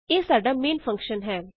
ਇਹ ਸਾਡਾ main function ਹੈ